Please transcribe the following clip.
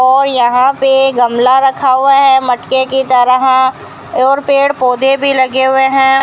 और यहां पे गमला रखा हुआ है मटके की तरह और पेड़ पौधे भी लगे हुए हैं।